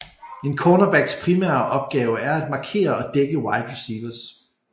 En cornerbacks primære opgave er at markere og dække wide receivers